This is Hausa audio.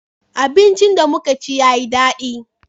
abinci da muka ci ya yi dadi